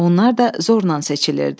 Onlar da zorla seçilirdi.